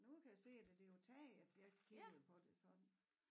Nu kan jeg se det det jo taget jeg kiggede på det sådan